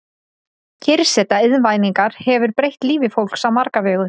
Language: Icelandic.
Kyrrseta Iðnvæðingin hefur breytt lífi fólks á marga vegu.